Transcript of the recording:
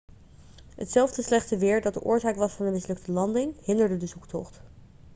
hetzelfde slechte weer dat de oorzaak was van de mislukte landing hinderde de zoektocht